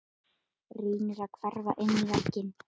Reynir að hverfa inn í vegginn.